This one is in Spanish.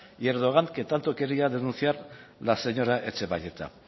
y erdogan que tanto quería denunciar la señora etxebarrieta